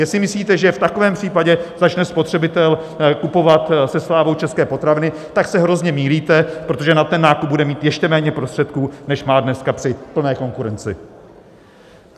Jestli myslíte, že v takovém případě začne spotřebitel kupovat se slávou české potraviny, tak se hrozně mýlíte, protože na ten nákup bude mít ještě méně prostředků, než má dneska při plné konkurenci.